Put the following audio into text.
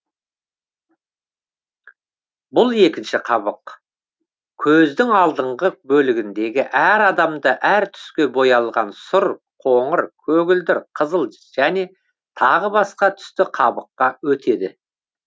бұл екінші қабық көздің алдыңғы бөлігіндегі әр адамда әр түске боялған сұр қоңыр көгілдір қызыл және тағы басқа түсті қабыққа өтеді